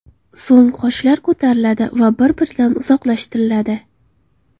So‘ng qoshlar ko‘tariladi va bir - biridan uzoqlashtiriladi.